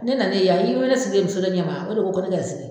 Ne nalen yan i ye ne sigilen ye muso dɔ ɲɛ ma o de ko ko ne ka n sigi yan